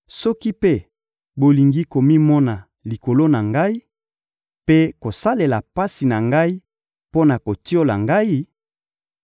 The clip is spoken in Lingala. Soki mpe bolingi komimona likolo na ngai mpe kosalela pasi na ngai mpo na kotiola ngai,